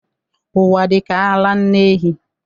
Ụwa dịka ara nne ehi..